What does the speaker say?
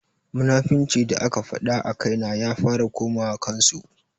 Munafuncin da aka faɗa a kaina ya fara komawa kan su.